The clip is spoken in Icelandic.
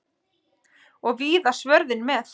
Og víða svörðinn með.